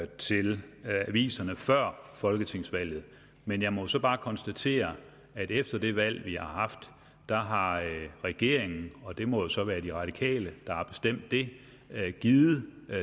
til aviserne før folketingsvalget men jeg må så bare konstatere at efter det valg vi har haft har regeringen og det må så være de radikale der har bestemt det givet